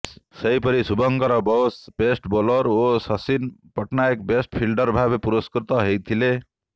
ସେହିପରି Shubhankar Bose best bowler ଓ Shashin Pattnaik best fielder ଭାବେ ପୁରସ୍କୃତ ହୋଇଥିଲେ